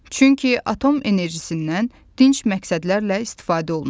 Çünki atom enerjisindən dinc məqsədlərlə istifadə olunur.